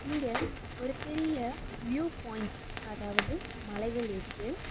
இங்க ஒரு பெரிய வியூ பாயிண்ட் அதாவது மலைகள் இருக்கு.